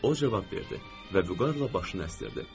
O cavab verdi və vüqarla başını əsdiridi.